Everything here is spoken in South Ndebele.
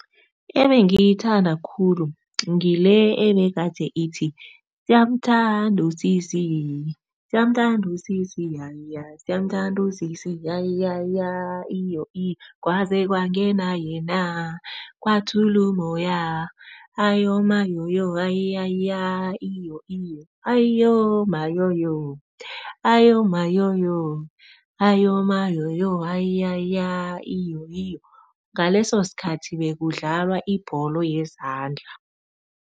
Ebengiyithanda khulu ngile ebegade ithi, siyamthanda usisi, siyamthanda usisi, yaya siyamthanda usisi yayaya iyo iyo. Kwaze kwangena yena kwathulumoya, ayomayoyo ayaya iyo iyo, ayoma yoyo ayoma yoyo ayoma mayoyo ayaya iyo iyo. Ngaleso sikhathi bekudlalwa ibholo yezandla.